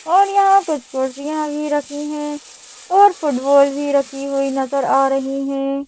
और यहां कुछ कुर्सियां भी रखी हैं और फुटबॉल भी रखी हुई नजर आ रही है।